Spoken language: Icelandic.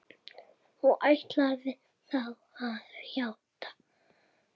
Og ætlarðu þá að játa?